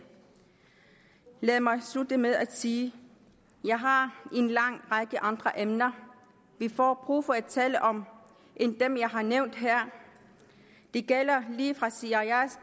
lad mig slutte med at sige at jeg har en lang række andre emner vi får brug for at tale om end dem jeg har nævnt her det gælder lige fra cias